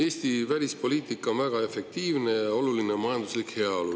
Eesti välispoliitika on väga efektiivne ja oluline on majanduslik heaolu.